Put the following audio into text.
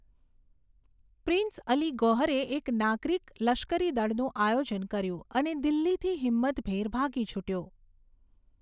Prince Ali ગૌહરે એક નાગરિક લશ્કરી દળનું આયોજન કર્યું અને દિલ્હીથી હિંમતભેર ભાગી છૂટ્યો.